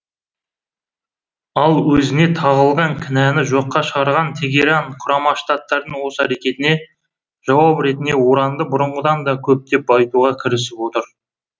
ал өзіне тағылған кінәні жоққа шығарған тегеран құрама штаттардың осы әрекетіне жауап ретінде уранды бұрынғыдан да көптеп байытуға кірісіп отыр